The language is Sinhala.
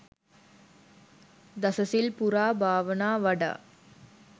දසසිල් පුරා භාවනා වඩා